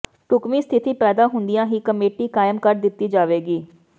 ਢੁੱਕਵੀਂ ਸਥਿਤੀ ਪੈਦਾ ਹੁੰਦਿਆਂ ਹੀ ਕਮੇਟੀ ਕਾਇਮ ਕਰ ਦਿੱਤੀ ਜਾਵੇਗੀ